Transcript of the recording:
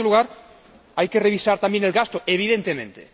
En segundo lugar, hay que revisar también el gasto, evidentemente.